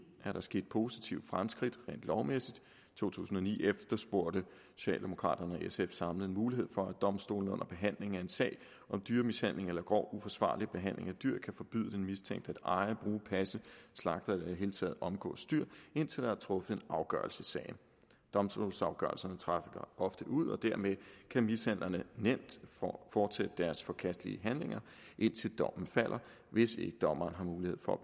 er der sket positive fremskridt rent lovmæssigt i to tusind og ni efterspurgte socialdemokraterne og sf samlet en mulighed for at domstolene under behandling af en sag om dyremishandling eller grov uforsvarlig behandling af dyr kan forbyde den mistænkte at eje bruge passe slagte eller i det hele taget omgås dyr indtil der er truffet en afgørelse i sagen domstolsafgørelserne trækker ofte ud og dermed kan mishandlerne nemt fortsætte deres forkastelige handlinger indtil dommen falder hvis ikke dommeren har mulighed for at